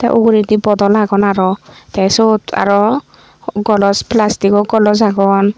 te uguredi bodol agon aro te syot aro golos plastic golos agon.